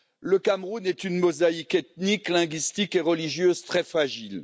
Le Cameroun est une mosaïque ethnique, linguistique et religieuse très fragile.